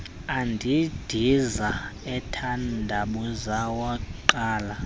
endindiza ethandabuza wangqala